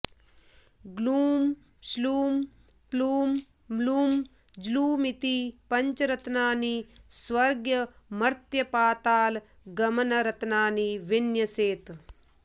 ग्लूं श्लूं प्लूं म्लूं ज्लूमिति पञ्चरत्नानि स्वर्गमर्त्यपातालगमनरत्नानि विन्यसेत्